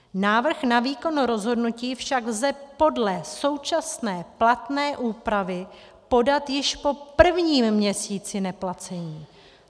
Návrh na výkon rozhodnutí však lze podle současné platné úpravy podat již po prvním měsíci neplacení.